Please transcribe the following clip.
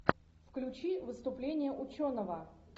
включи выступление ученого